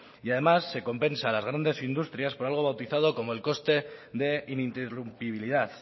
y además se compensa a las grandes industrias por algo bautizado como el coste de ininterrumpibilidad